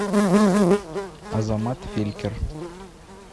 азамат фелькер